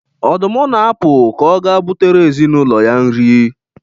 Ọdụm na-apụ ka ọ gaa butere ezinụlọ ya nri.